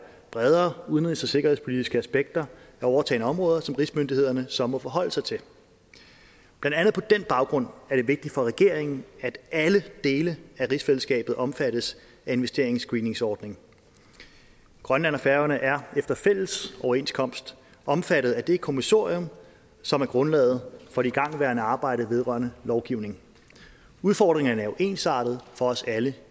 bredere udenrigs og sikkerhedspolitiske aspekter af overtagne områder som rigsmyndighederne så må forholde sig til blandt andet på den baggrund er det vigtigt for regeringen at alle dele af rigsfællesskabet omfattes af investeringsscreeningsordningen grønland og færøerne er efter fælles overenskomst omfattet af det kommissorium som er grundlaget for det igangværende arbejde vedrørende lovgivning udfordringerne er jo ensartede for os alle